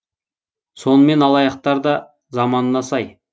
сонымен алаяқтар да заманына сай